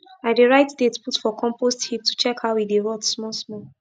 i dey write date put for compost heap to check how e dey rot small small